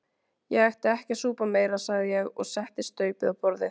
Ég ætti ekki að súpa meira sagði ég og setti staupið á borðið.